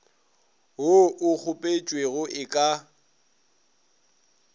wo o kgopetšwego e ka